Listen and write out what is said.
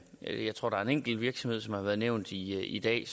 jeg tror der er en enkelt virksomhed som har været nævnt i dag